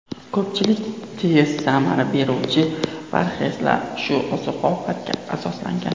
Ko‘pchilik tez samara beruvchi parhezlar shu oziq-ovqatga asoslangan.